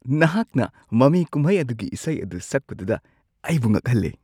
ꯅꯍꯥꯛꯅ ꯃꯃꯤ ꯀꯨꯝꯍꯩ ꯑꯗꯨꯒꯤ ꯏꯁꯩ ꯑꯗꯨ ꯁꯛꯄꯗꯨꯗ ꯑꯩꯕꯨ ꯉꯛꯍꯜꯂꯦ ꯫